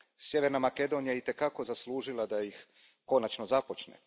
Sjeverna Makedonija je i te kako zaslužila da ih konačno započne.